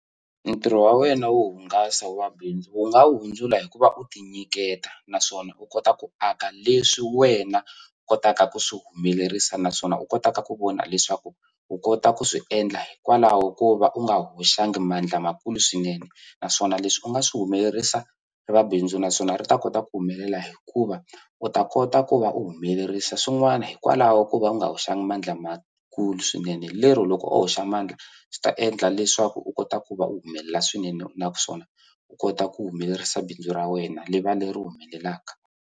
Ntirho wa wena wo hungasa wa bindzu wu nga wu hundzula hikuva u ti nyiketa naswona u kota ku aka leswi wena u kotaka ku swi humelerisa naswona u kotaka ku vona leswaku u kota ku swi endla hikwalaho ko va u nga hoxanga mandla lamakulu swinene naswona leswi u nga swi humelerisa eka bindzu naswona ri ta kota ku humelela hikuva u ta kota ku va u humelerisa swin'wana hikwalaho ko va u nga hoxanga mandla lamakulu swinene lero loko wo hoxa mandla swi ta endla leswaku u kota ku va u humelela swinene naswona u kota ku humelerisa bindzu ra wena ri va leri humelelaka.